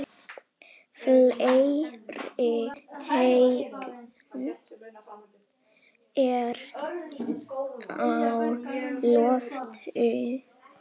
Fleiri teikn eru á lofti.